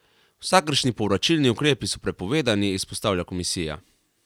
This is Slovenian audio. Vsakršni povračilni ukrepi so prepovedani, izpostavlja komisija.